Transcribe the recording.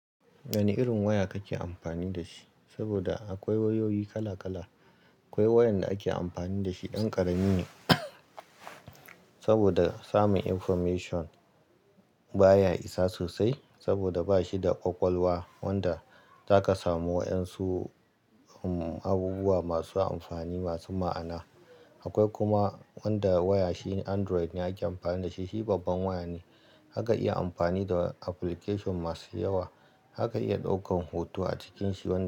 Wane irin waya kake amfani da shi? Saboda akwai wayoyi kala kala. Akwai wayan da ake amfani da shi ɗan ƙarami ne, saboda samun information baya isa sosai. Saboda ba shi da ƙwaƙwalwa wanda zaka samu wa'yansu, um abubuwa masu amfani, masu ma'ana. Akwai kuma wanda waya shi Android ne ake amfani da shi. Shi babban waya ne, zaka iya amfani da application masu yawa. Zaka iya ɗaukan hoto a cikin shi wani.